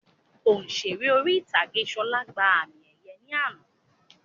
Òṣèré orí ìtàgé Ṣọlá gbà àmì ẹ̀yẹ ní àná